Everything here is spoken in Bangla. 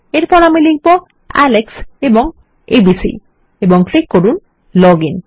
এরপর আমি লিখব আলেক্স এবং 123 মাফ করবেন এবিসি এবং ক্লিক করুন লগ আইএন